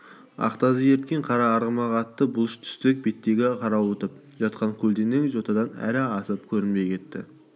ақ тазы ерткен қара арғымақ атты бұлыш түстік беттегі қарауытып жатқан көлденең жотадан әрі асып көрінбей кетті